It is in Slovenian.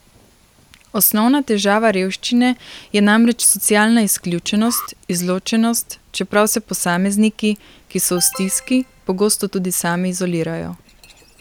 Osnovna težava revščine je namreč socialna izključenost, izločenost, čeprav se posamezniki, ki so v stiski, pogosto tudi sami izolirajo.